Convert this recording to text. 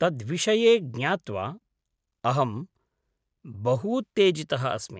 तद्विषये ज्ञात्वा अहम् बहूत्तेजितः अस्मि।